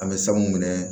An bɛ sɔ mun minɛ